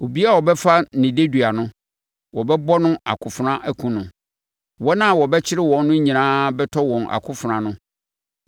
Obiara a wɔbɛfa no dedua no, wɔbɛwɔ no akofena akum no; wɔn a wɔbɛkyere wɔn no nyinaa bɛtɔ wɔ akofena ano.